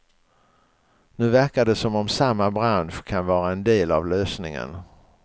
Nu verkar det som om samma bransch kan vara en del av lösningen.